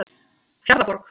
Fjarðarborg